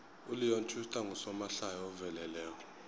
uleon schuster ngusomahlaya oveleleko